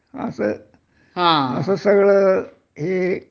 असं असं सगळं हे